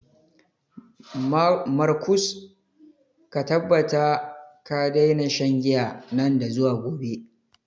Markus, ka tabbata ka daina shan giya nan da zuwa gobe.